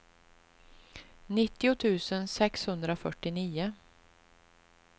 nittio tusen sexhundrafyrtionio